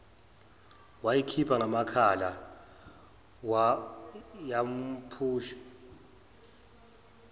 wayikhipha ngamakhala yawumphusho